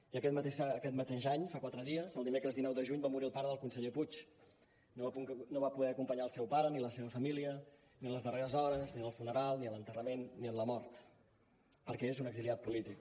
i aquest mateix any fa quatre dies el dimecres dinou de juny va morir el pare del conseller puig no va poder acompanyar el seu pare ni la seva família ni en les darreres hores ni en el funeral ni a l’enterrament ni en la mort perquè és un exiliat polític